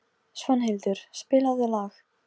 Nei, það er sama sagan með þá eins og börnin.